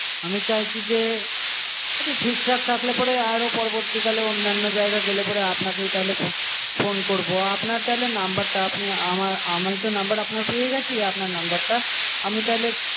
আমি চাইছি যে একটু ঠিকঠাক থাকলে পরে আরো পরবর্তীকালে অন্যান্য জায়গা গেলে পরে আপনাকেই তাহলে ফোন করবো আপনার তাহলে নাম্বারটা আপনি আমার আমি তো নম্বর আপনার পেয়ে গেছি আপনার নাম্বারটা আমি তাহলে